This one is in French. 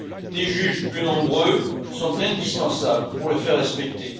Des juges plus nombreux sont indispensables pour les faire respecter.